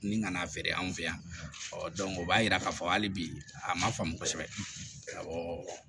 Ni ka n'a feere an fɛ yan ɔ o b'a yira k'a fɔ hali bi a ma faamu kosɛbɛ awɔ